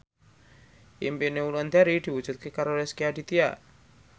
impine Wulandari diwujudke karo Rezky Aditya